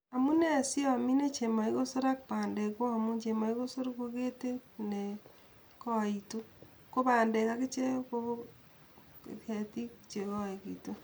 Amune siomine chemokikosor ak pandeek ko amun chemokikosor ko ketit ne koitu ko pandeek ak akichek ko ketiik chegoekitu.